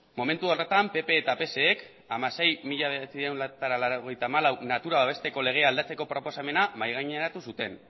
momentu horretan pp k eta pse ek hamasei barra mila bederatziehun eta laurogeita hamalau natura babesteko legea aldatzeko proposamena mahaigaineratu zuten